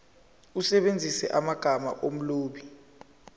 usebenzise amagama omlobi